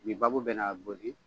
Nin baabu bɛ na gosi